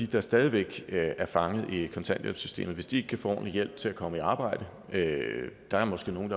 der stadig væk er fanget i kontanthjælpssystemet hvis de ikke kan få ordentlig hjælp til at komme i arbejde der er måske nogle